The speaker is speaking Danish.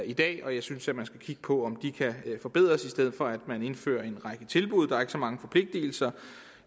i dag og jeg synes at man skulle kigge på om de kan forbedres i stedet for at man indfører en række tilbud der er ikke så mange forpligtelser